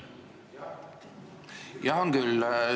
Jaa, on küll.